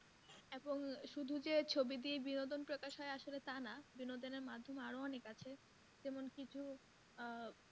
শুধু যে ছবি দিয়ে বিনোদন প্রকাশ হয় আসলে তা না বিনোদন এর মাধ্যম আরো অনেক আছে যেমন কিছু আহ